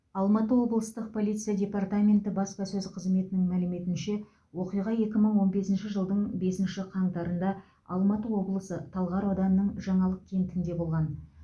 алматы облыстық полиция департаменті баспасөз қызметінің мәліметінше оқиға екі мың он бесінші жылдың бесінші қаңтарында алматы облысы талғар ауданының жаңалық кентінде болған